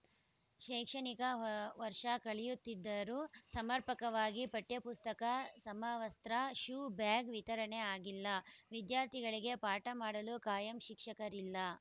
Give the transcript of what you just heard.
ಶೈಕ್ಷಣಿಕ ವರ್ಷ ಕಳೆಯುತ್ತಿದ್ದರೂ ಸಮರ್ಪಕವಾಗಿ ಪಠ್ಯಪುಸ್ತಕ ಸಮವಸ್ತ್ರ ಶೂ ಬ್ಯಾಗ್‌ ವಿತರಣೆ ಆಗಿಲ್ಲ ವಿದ್ಯಾರ್ಥಿಗಳಿಗೆ ಪಾಠ ಮಾಡಲು ಕಾಯಂ ಶಿಕ್ಷಕರಿಲ್ಲ